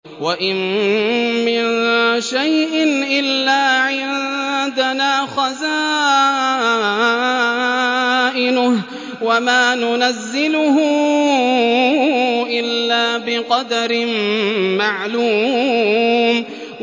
وَإِن مِّن شَيْءٍ إِلَّا عِندَنَا خَزَائِنُهُ وَمَا نُنَزِّلُهُ إِلَّا بِقَدَرٍ مَّعْلُومٍ